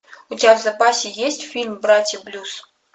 у тебя в запасе есть фильм братья блюз